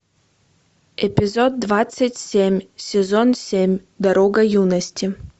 эпизод двадцать семь сезон семь дорога юности